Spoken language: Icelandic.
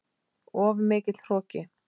Of mikill hroki.